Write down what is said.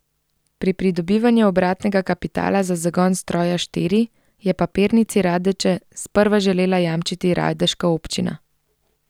Pri pridobivanju obratnega kapitala za zagon stroja štiri je Papirnici Radeče sprva želela jamčiti radeška občina.